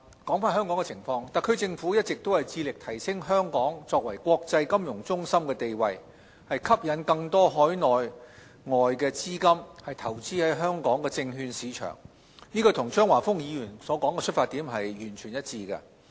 針對香港的情況，特區政府一直致力提升香港作為國際金融中心的地位，吸引更多海內外資金投資香港證券市場，與張華峰議員的出發點完全一致。